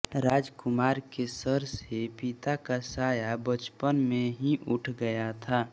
राजकुमार के सर से पिता का साया बचपन में ही उठ गया था